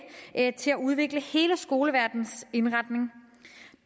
til at udvikle hele skoleverdenens indretning